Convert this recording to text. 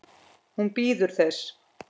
Hún bíður þess.